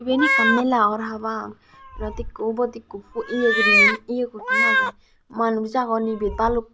iben ekkan mela or habang ibet ikko ubot ikko ye guriney ye guriney agey manuj agon ibet baluk.